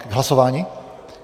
K hlasování?